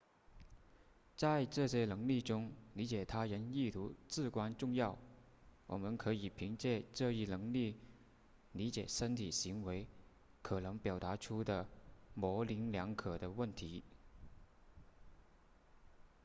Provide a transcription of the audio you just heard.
在这些能力中理解他人意图至关重要我们可以凭借这一能力理解身体行为可能表达出的模棱两可的问题